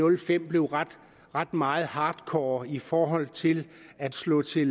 og fem blev ret ret meget hardcore i forhold til at slå til